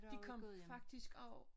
De kom faktisk også